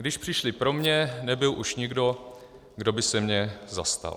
Když přišli pro mě, nebyl už nikdo, kdo by se mě zastal.